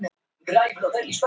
Já viðurkenndi hann.